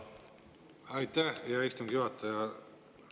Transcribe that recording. Aitäh, hea istungi juhataja!